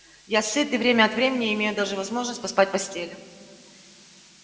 я сыт и время от времени имею даже возможность поспать в постели